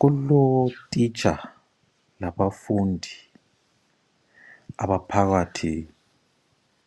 Kulotitsha labafundi abaphakathi